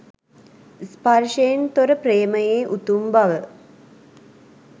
ස්පර්ශයෙන් තොර ප්‍රේමයේ උතුම් බව